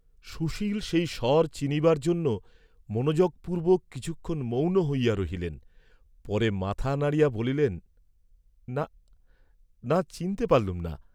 সুশীল সেই স্বর চিনিবার জন্য মনোযোগপূর্বক কিছুক্ষণ মৌন হইয়া রহিলেন, পরে মাথা নাড়িয়া বলিলেন, "না, না, চিনতে পারলুম না।"